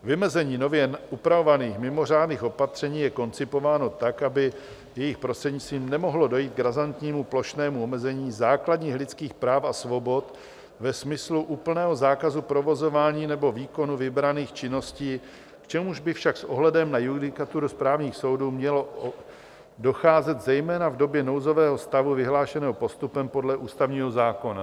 Vymezení nově upravovaných mimořádných opatření je koncipováno tak, aby jejich prostřednictvím nemohlo dojít k razantnímu plošnému omezení základních lidských práv a svobod ve smyslu úplného zákazu provozování nebo výkonu vybraných činností, k čemuž by však s ohledem na judikaturu správních soudů mělo docházet zejména v době nouzového stavu vyhlášeného postupem podle ústavního zákona.